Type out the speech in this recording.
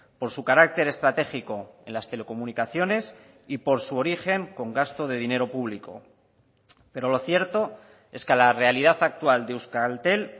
por su carácter estratégico en las telecomunicaciones y por su origen con gasto de dinero público pero lo cierto es que la realidad actual de euskaltel